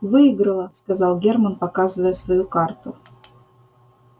выиграла сказал германн показывая свою карту